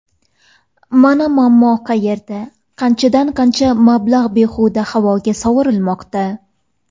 Mana muammo qayerda qanchadan-qancha mablag‘ behuda havoga sovurilmoqda.